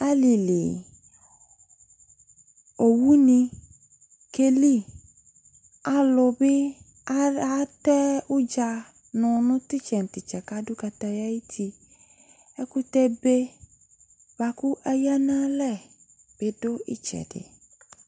ali li owu ni ke li alo bi atɛ udza no no titsɛ no titsɛ ko ado kataya ayiti ɛkotɛ be boa ko aya no ilɛ bi do itsɛdi